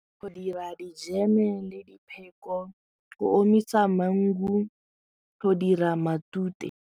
Go dira dijeme le dipheko go omisa mangu go dira matute.